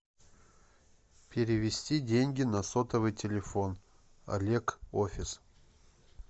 перевести деньги на сотовый телефон олег офис